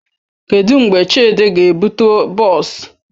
Kedụ mgbe Chidi ga-ebute bọọs?